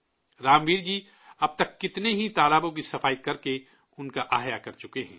رام ویر جی اب تک کتنے ہی تالابوں کی صفائی کرکے انہیں دوبارہ زندہ کر چکے ہیں